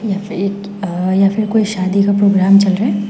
यहां पे एक यहां पर कोई शादी का प्रोग्राम चल रहा है।